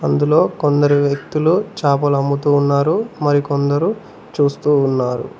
అందులో కొందరు వ్యక్తులు చాపలు అమ్ముతున్నారు మరికొందరు చూస్తూ ఉన్నారు.